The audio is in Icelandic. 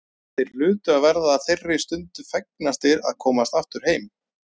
Þeir hlutu að verða þeirri stundu fegnastir að komast aftur heim.